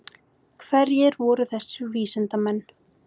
Hverjir voru þessir vísindamenn?